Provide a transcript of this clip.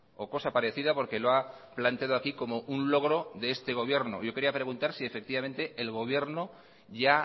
o cosa parecida porque lo ha planteado aquí como un logro de este gobierno yo quería preguntar si efectivamente el gobierno ya